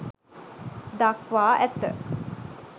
දක්වා ඇත.